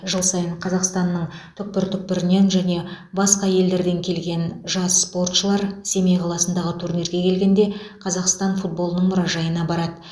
жыл сайын қазақстанның түкпір түкпірінен және басқа елдерден келген жас спортшылар семей қаласындағы турнирге келгенде қазақстан футболының мұражайына барады